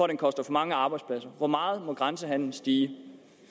den koster for mange arbejdspladser hvor meget må grænsehandelen stige